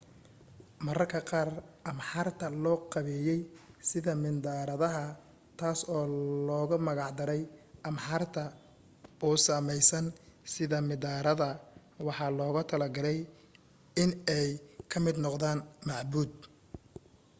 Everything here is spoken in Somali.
marmarka qaar ahraamta loo qabeyey sida mindharadaha taas oo loogu magic daray arhamta u sameysan sida midhaarada waxaana loogu talagalay in ay ka mid noqdaan macbuud